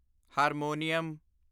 harmonium